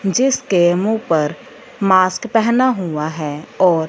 जिसके मुंह पर मास्क पहने हुआ है और--